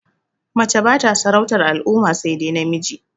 Mace bata sarautar al'umma sai dai namiji